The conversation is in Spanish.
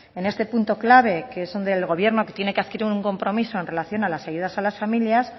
en este punto clave que es donde el gobierno tiene que adquirir un compromiso en relación a las ayudas a las familias